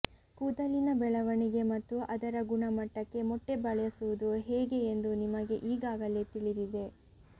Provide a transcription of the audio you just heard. ಕೂದಲಿನ ಬೆಳವಣಿಗೆ ಮತ್ತು ಅದರ ಗುಣಮಟ್ಟಕ್ಕೆ ಮೊಟ್ಟೆ ಬಳಸುವುದು ಹೇಗೆ ಎಂದು ನಿಮಗೆ ಈಗಾಗಲೇ ತಿಳಿದಿದೆ